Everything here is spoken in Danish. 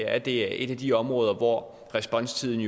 at det er et af de områder hvor responstiden